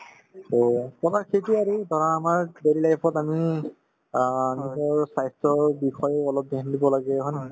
so, to আমাৰ সেইটোয়ে আৰু ধৰা আমাৰ daily life ত আমি অ নিজৰ স্ৱাস্থ্যৰ বিষয়ে অলপ dhyan দিব লাগে হয় নে নহয়